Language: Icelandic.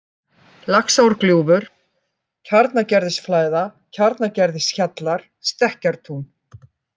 Laxárgljúfur, Kjarnagerðisflæða, Kjarnagerðishjallar, Stekkartún